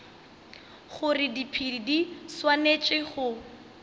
gore diphedi di swanetše go